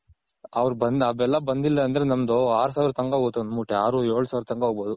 ಅವ್ರ್ ಆ ಬೆಲ್ಲ ಬಂದಿಲ್ಲ ಅಂದ್ರೆ ನಮ್ದು ಆರ್ ಸಾವರ್ ತನಕ ಹೋಗುತ್ತೆ ಒಂದ್ ಮೂಟೆ ಆರು ಏಳ್ ಸಾವರ್ದ್ ತನಕ ಹೋಗ್ಬೋದು.